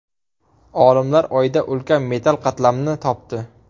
Olimlar Oyda ulkan metall qatlamni topdi.